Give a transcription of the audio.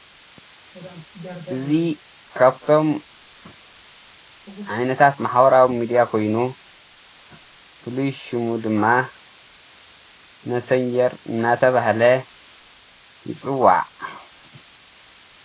እዚ ካብቶም ዓይነታት ማሕበራዊ ሚድያ ኮይኑ ፉሉይ ሽሙ ድማ መሰንጀር እናተባሃለ ይፅዋዕ።